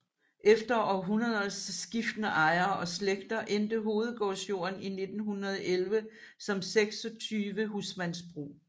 Efter århundreders skiftende ejere og slægter endte hovedgårdsjorden i 1911 som 26 husmandsbrug